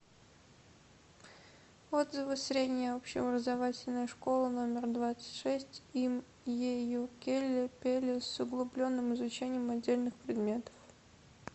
отзывы средняя общеобразовательная школа номер двадцать шесть им е ю келле пелле с углубленным изучением отдельных предметов